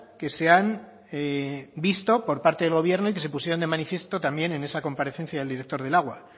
que se han visto por parte del gobierno y que se pusieron de manifiesto también en esa comparecencia del director del agua